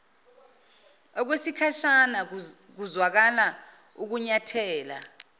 okwesikhashana kuzwakala ukunyathela